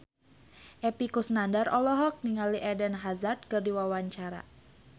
Epy Kusnandar olohok ningali Eden Hazard keur diwawancara